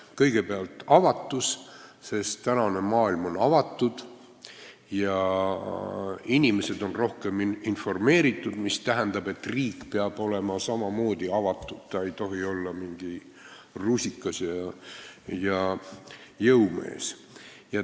Kõigepealt avatus, sest tänane maailm on avatud ja inimesed on rohkem informeeritud, mis tähendab, et riik peab olema samamoodi avatud, ta ei tohi olla mingi rusikas ja jõumees.